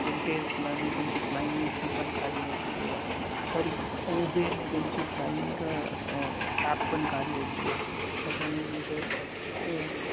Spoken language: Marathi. अजून टेस्लाने त्यांची flying हि पण काढलेली आहे. Sorry उबेरने त्यांची flying अह cab पण काढलेली आहे. त्याच्याने म्हणजे